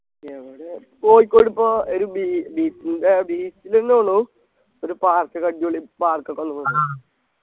എവിടെ കോഴിക്കോട് പ്പോ ഒരു bee beach ൻ്റെ beach ന്നെ തോണു ഒരു park ഒക്കെ അടിപൊളി park ഒക്കെ വന്നുകുണ്